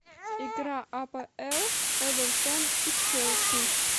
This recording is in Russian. игра апл эвертон и челси